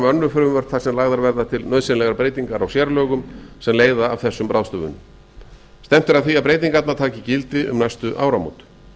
önnur frumvörp þar sem lagðar verða til nauðsynlegar breytingar á sérlögum sem leiða af þessum ráðstöfunum stefnt er að því að breytingarnar taki gildi um næstu áramót